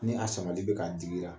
Ni a samali bɛ k'a digira